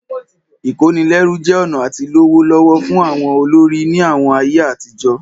Ìkónilẹ́rú jẹ́ ọ̀nà àti lówó lọ́wọ́ fún àwọn ọlọ́rọ̀ ní àwọn ayé àtijọ́